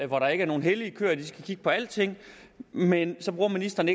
hvor der ikke er nogen hellige køer så de skal kigge på alting men så bruger ministeren